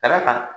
Ka d'a kan